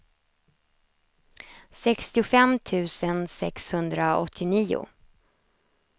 sextiofem tusen sexhundraåttionio